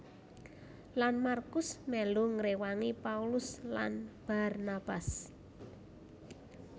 Lan MarkuS melu ngrewangi Paulus lan Barnabas